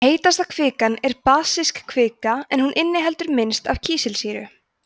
heitasta kvikan er basísk kvika en hún inniheldur minnst af kísilsýru